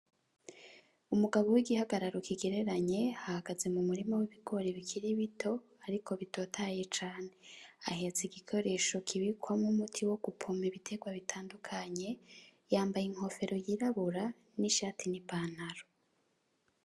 Umugabo w'igihagararo kigereranye, ahagaze m'umurima w'ibigori bikiri bito ariko bitotahaye cane, ahetse igikoresho kibikwamwo umuti wo gupompa ibiterwa bitandukanye, yambaye inkofero y'irabura n'ishati n'ipantaro.